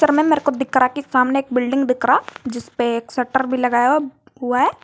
मेरे को दिखरा कि सामने एक बिल्डिंग दिखरा जिसपे एक शटर भी लगाया हुआ है।